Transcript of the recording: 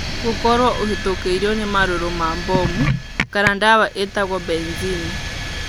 Gũkorũo ũhĩtũkĩrũo nĩ marũrũ ma mbomu kana ndawa ĩtagwo benzene.